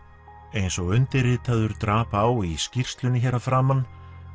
eins og undirritaður drap á í skýrslunni hér að framan